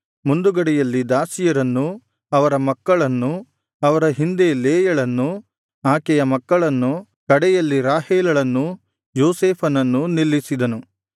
ಮುಂದುಗಡೆಯಲ್ಲಿ ದಾಸಿಯರನ್ನೂ ಅವರ ಮಕ್ಕಳನ್ನೂ ಅವರ ಹಿಂದೆ ಲೇಯಳನ್ನೂ ಆಕೆಯ ಮಕ್ಕಳನ್ನೂ ಕಡೆಯಲ್ಲಿ ರಾಹೇಲಳನ್ನೂ ಯೋಸೇಫನನ್ನೂ ನಿಲ್ಲಿಸಿದನು